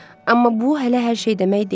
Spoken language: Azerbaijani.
Amma bu hələ hər şey demək deyil.